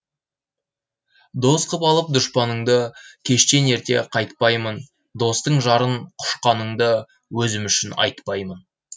дос қып алып дұшпаныңды кештен ерте қайтпаймын достың жарын құшқаныңды өзім үшін айтпаймын